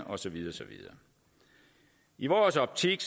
og så videre i vores optik